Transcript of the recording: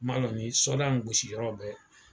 N m'a lɔ ni sɔda in gosiyɔrɔ bɛ